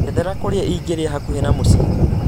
njethera kũrĩa ingĩrĩa hakuhĩ na mũciĩ